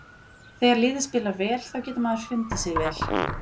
Þegar liðið spilar vel þá getur maður fundið sig vel.